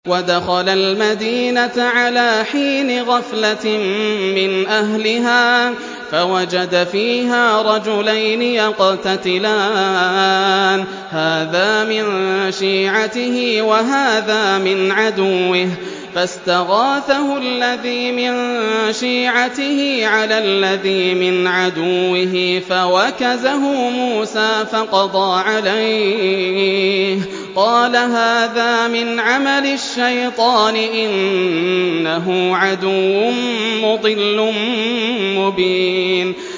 وَدَخَلَ الْمَدِينَةَ عَلَىٰ حِينِ غَفْلَةٍ مِّنْ أَهْلِهَا فَوَجَدَ فِيهَا رَجُلَيْنِ يَقْتَتِلَانِ هَٰذَا مِن شِيعَتِهِ وَهَٰذَا مِنْ عَدُوِّهِ ۖ فَاسْتَغَاثَهُ الَّذِي مِن شِيعَتِهِ عَلَى الَّذِي مِنْ عَدُوِّهِ فَوَكَزَهُ مُوسَىٰ فَقَضَىٰ عَلَيْهِ ۖ قَالَ هَٰذَا مِنْ عَمَلِ الشَّيْطَانِ ۖ إِنَّهُ عَدُوٌّ مُّضِلٌّ مُّبِينٌ